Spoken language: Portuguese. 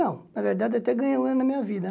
Não, na verdade eu até ganhei um ano da minha vida.